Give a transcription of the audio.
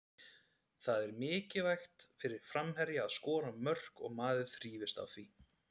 Það er mikilvægt fyrir framherja að skora mörk og maður þrífst á því.